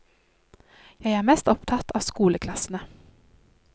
Jeg er mest opptatt av skoleklassene.